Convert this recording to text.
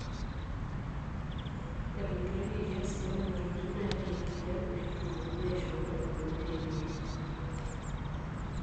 Etogiroyioki asid onena tokitin naaitayi enkijape pee etumoki aishoru engolon nayieuni.